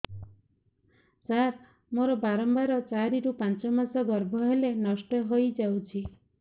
ସାର ମୋର ବାରମ୍ବାର ଚାରି ରୁ ପାଞ୍ଚ ମାସ ଗର୍ଭ ହେଲେ ନଷ୍ଟ ହଇଯାଉଛି